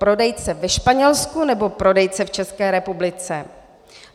Prodejce ve Španělsku, nebo prodejce v České republice?